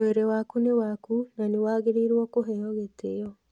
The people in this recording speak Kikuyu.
Mwĩrĩ waku nĩ waku, na nĩ wagĩrĩirũo kũũhe gĩtĩo.